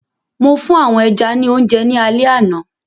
Mo fún àwọn ẹja ní oúnjẹ ní alẹ àná.